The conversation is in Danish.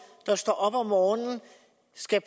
der står op om morgenen skal